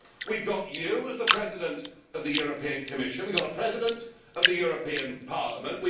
We have got you as President of the European Commission, we have a President of the European Parliament